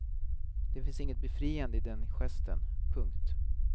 Det finns inget befriande i den gesten. punkt